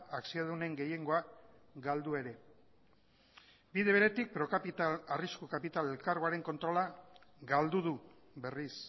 akziodunen gehiengoa galdu ere bide beretik procapital arrisku kapital elkargoaren kontrola galdu du berriz